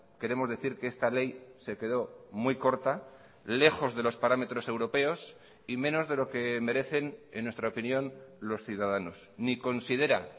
queremos decir que esta ley se quedó muy corta lejos de los parámetros europeos y menos de lo que merecen en nuestra opinión los ciudadanos ni considera